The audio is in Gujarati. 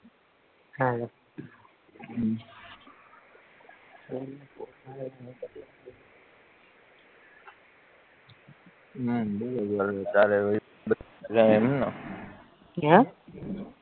હાલો હમ